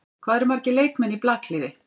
Hvað eru margir leikmenn í blakliði?